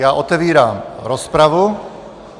Já otevírám rozpravu.